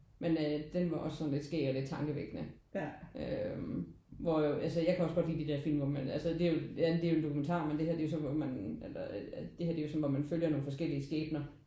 Men øh den var også sådan lidt skæg og lidt tankevækkende øh hvor altså jeg kan også godt lide de der film hvor man altså det ja det er jo en dokumentar men det her er jo så hvor man eller det er jo så hvor man følger nogle forskellige skæbner